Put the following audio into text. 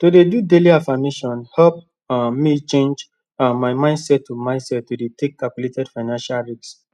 to dey do daily affirmations help um me change um my mindset to mindset to dey take calculated financial risks